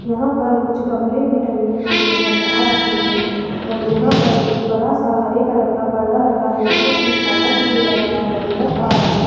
यहां पर कुछ गमले भी टंगे हुए नज़र आ रहे है और यहां पर एक बड़ा सा हरे कलर का पर्दा लगा है जोकि छाया के लिए लगाया हुआ नज़र आ रहा --